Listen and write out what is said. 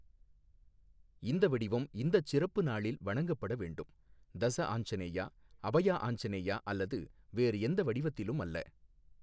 இந்த வடிவம் இந்தச் சிறப்பு நாளில் வணங்கப்பட வேண்டும், தஸ ஆஞ்சநேயா, அபயா ஆஞ்சநேயா அல்லது வேறு எந்த வடிவத்திலும் அல்ல.